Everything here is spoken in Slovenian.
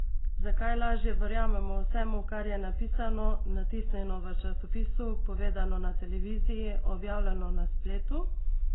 Zakaj lažje verjamemo vsemu, kar je napisano, natisnjeno v časopisu, povedano na televiziji, objavljeno na spletu?